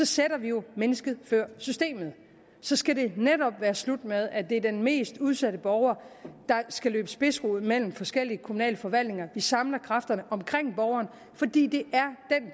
sætter vi jo mennesket før systemet så skal det netop være slut med at det er den mest udsatte borger der skal løbe spidsrod mellem forskellige kommunale forvaltninger vi samler kræfterne omkring borgeren fordi det